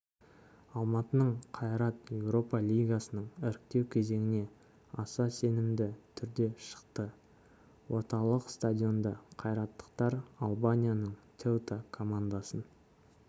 алматының қайрат еуропа лигасының іріктеу кезеңіне аса сенімді түрде шықты орталық стадионда қайраттықтар албанияның теута командасын